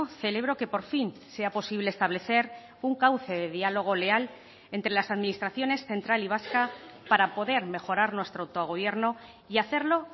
celebro que por fin sea posible establecer un cauce de dialogo leal entre las administraciones central y vasca para poder mejorar nuestro autogobierno y hacerlo